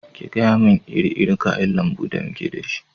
Ki gayamun iri irin kayan lambu da muke da shi!